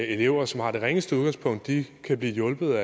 elever som har det ringeste udgangspunkt kan blive hjulpet